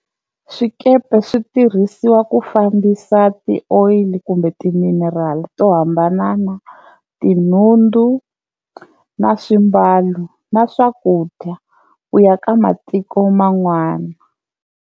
Swikepe swi tirhisiwa ku fambisa ti-oil kumbe ti-mineral to hambanana tinhundzu na swimbalo na swakudya ku ya ka matiko man'wana.